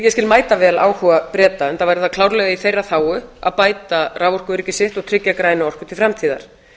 ég skil mætavel áhuga breta enda er það klárlega í þeirra þágu að bæta raforkuöryggi sitt og tryggja græna orku til framtíðar